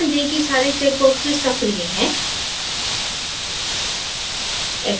ध्यान दें की सारे check boxes सक्रिय हैं